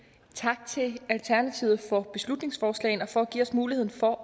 tak til alternativet for beslutningsforslaget og for at give os muligheden for